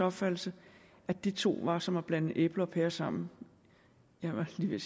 opfattelse at de to var som at blande æbler og pærer sammen jeg var lige ved